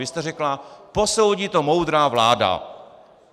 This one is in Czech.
Vy jste řekla: Posoudí to moudrá vláda.